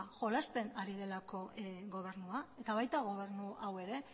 jolasten ari delako gobernua eta baita gobernu hau ere